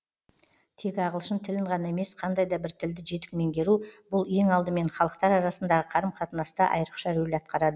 тек ағылшын тілін ғана емес қандай да бір тілді жетік меңгеру бұл ең алдымен халықтар арасындағы қарым қатынаста айрықша рөл атқарады